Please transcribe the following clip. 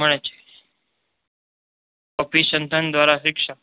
મળે છે. અભિસંદન દ્વારા શિક્ષણ